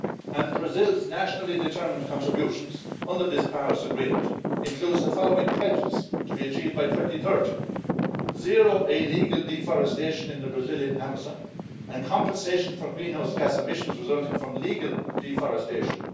And Brazil's nationally determined contributions under this Paris Agreement include the following pledges, to be achieved by 2030 zero illegal deforestation in the Brazilian Amazon and compensation for greenhouse gas emissions resulting from legal deforestation.